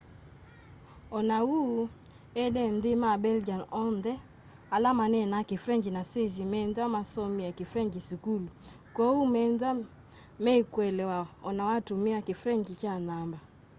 o na uu ene nthi ma belgian onthe ala manenaa kifrengyi na sweiss methwa masomie kifrengyi sukulu kwoou methwa meikuelewa ona watumia kifrengyi kya namba